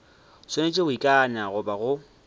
swanetše go ikana goba go